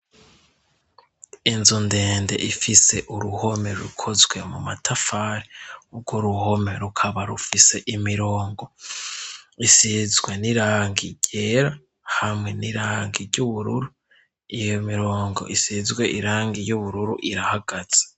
inzu ndende ifise uruhome rukozwe mu matafari ugwo ruhome rukaba rufise imirongo isizwe n'irangi ryera hamwe n'irangi ry'ubururu iyo mirongo isizwe irangi y'ubururu irahagaze